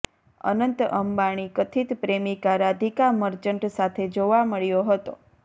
અનંત અંબાણી કથિત પ્રેમિકા રાધિકા મર્ચન્ટ સાથે જોવા મળ્યો હતો